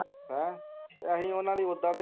ਹੈਂ ਅਸੀਂ ਓਹਨਾ ਲਈ ਓਦਾਂ ਦੇ ਹੀ